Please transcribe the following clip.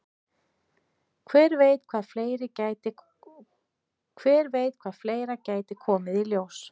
Hver veit hvað fleira gæti komið í ljós?